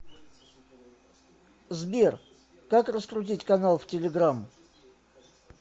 сбер как раскрутить канал в телеграмм